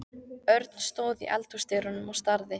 Örn stóð í eldhúsdyrunum og starði.